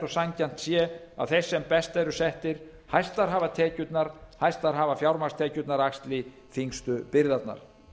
og sanngjarnt sé að þeir sem best eru settir hæstar hafa tekjurnar hæstar hafa fjármagnstekjurnar axli þyngstu byrðarnar